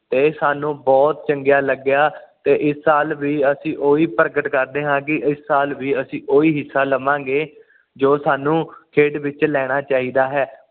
ਤੇ ਸਾਨੂੰ ਬੁਹਤ ਚੰਗਿਆਂ ਲੱਗਿਆ ਤੇ ਇਸ ਸਾਲ ਵੀ ਅਸੀਂ ਉਹੀ ਪਰਗਟ ਕਰਦੇ ਹਾਂ ਕਿ ਅਸੀਂ ਇਸ ਸਾਲ ਵੀ ਉਹੀ ਹਿਸਾ ਲਾਵਾਂ ਗੇ ਜੋ ਸਾਨੂੰ ਖੇਡ ਵਿੱਚ ਲੈਣਾ ਚਾਹੀਦਾ ਹੈ